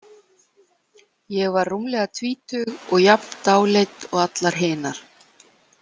Ég var rúmlega tvítug og jafn dáleidd og allar hinar.